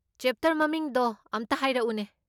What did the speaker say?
Chapter ꯃꯃꯤꯡꯗꯣ ꯑꯝꯇ ꯍꯥꯏꯔꯛꯎꯅꯦ꯫